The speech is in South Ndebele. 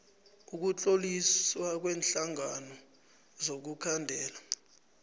ukutloliswa kweenhlangano zokukhandela